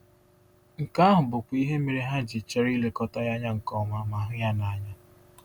Nke ahụ bụkwa ihe mere ha ji chọrọ ilekọta ya nke ọma ma hụ ya n’anya.